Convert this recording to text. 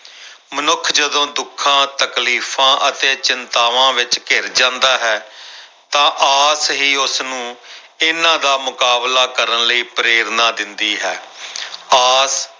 ਮਨੁੱਖ ਜਦੋਂ ਦੁੱਖਾਂ, ਤਕਲੀਫ਼ਾਂ ਅਤੇ ਚਿੰਤਾਵਾਂ ਵਿੱਚ ਘਿਰ ਜਾਂਦਾ ਹੈ ਤਾਂ ਆਸ ਹੀ ਉਸਨੂੰ ਇਹਨਾਂ ਦਾ ਮੁਕਾਬਲਾ ਕਰਨ ਲਈ ਪ੍ਰੇਰਨਾ ਦਿੰਦੀ ਹੈ ਆਸ